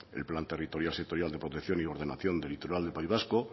el plan territorial sectorial de protección y ordenación del litoral del país vasco